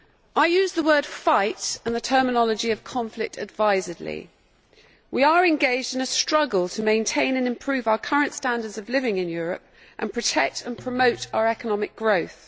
I use the word fight' and the terminology of conflict advisedly. We are engaged in a struggle to maintain and improve our current standards of living in Europe and to protect and promote our economic growth.